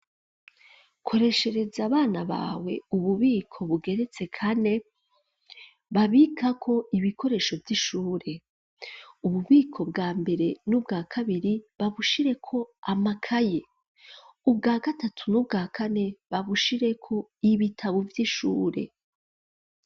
Koreshereza abana bawe ububiko bugeretse kane babikako ibikoresho vy'ishure ububiko bwa mbere n'ubwa kabiri babushireko amakaye ubwa gatatu n'ubwa kane babushireko ibitabu vy'ishure.